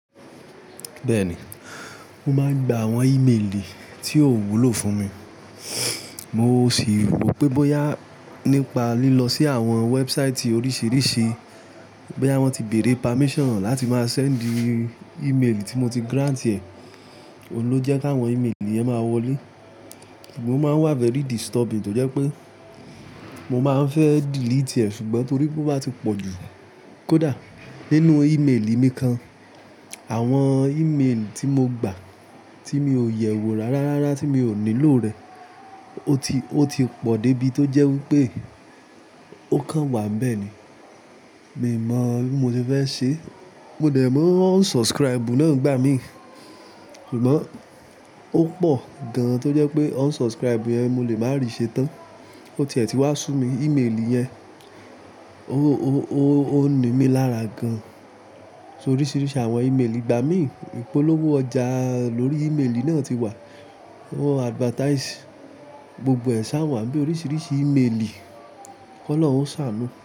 Bẹ́ẹ̀ni, mo máa ń gba àwọn emaili tí ó wúlò fún mi. Mo sì rò pé bóyá nípa lílọ sí àwọn website oríṣiríṣi, bóyá wọ́n ti bèèrè permission láti máa send email tí mo ti grant ẹ̀. Ohùn ló jẹ́ káwọn email yẹn máa wọlé. Ó máa ń wà very disturbing tó jẹ́ pé mo máa ń fẹ́ delete ẹ̀ ṣùgbọ́n torí pé ó bá ti pọ̀ jù. Kódà nínú emaili mi kan, àwọn emaili tí mo gbà tí mi ò yẹ̀wò rárá rárá tí mi ò nílò rẹ̀, ó ti, ó ti pọ̀ dé ibi tó jẹ́ wí pé ó kan wà bẹ́ẹ̀ ni. Mi ò mọ̀ bí mo ti fẹ́ ṣe. Mo dẹ̀ màá unsubscribe náà gbá mi. Ṣùgbọ́n ó pọ̀ gan tó jẹ́ pé unsubscribe yẹn mo lè máa rí i ṣe tán. Ó tiẹ̀ tí wa sùn mi emaili yẹn. Ó, ó, ó, ó ní mí lára gan. So oríṣiríṣi àwọn emaili ìgbà mi. Ipolowo ọjà lórí emaili náà ti wà. Wọ́n advertise gbogbo ẹ̀ ṣá wà bí oríṣiríṣi emaili. Kọ́ lọ́un ṣà ánu.